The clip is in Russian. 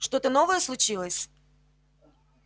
что-то новое случилось